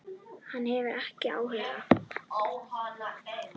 Hann hefur ekki áhuga.